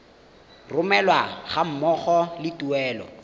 romelwa ga mmogo le tuelo